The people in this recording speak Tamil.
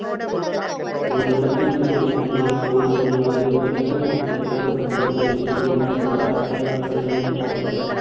ஓர் இடத்தில் இருபத்தி நான்கு மணி நேரத்திற்குள் நிலவும் அதிகப்பட்ச மற்றும் குறைந்தப்பட்ச வெப்பநிலைக்கும் இடையேயுள்ள சராசரியே வெப்பநிலை வீச்சு ஆகும்.